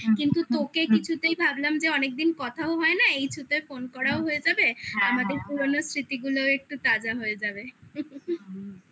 কিন্তু তোকে কিছুতেই ভাবলাম যে অনেকদিন কথাও হয় না এই through তে phone করাও হয়ে যাবে আমাদের পুরোনো স্মৃতি গুলোও একটু তাজা হয়ে যাবে